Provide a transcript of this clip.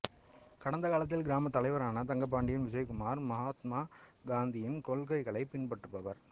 கடந்த காலத்தில் கிராம தலைவரான தங்கபாண்டி விஜயகுமார் மஹாத்மா காந்தியின் கொள்கைகளை பின்பற்றுபவர்